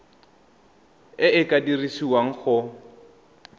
e e ka dirisiwang go